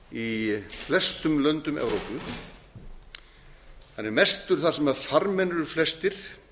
í flestum löndum evrópu hann er mestur þar sem farmenn eru flestir